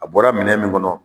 A bɔra minɛ min kɔnɔ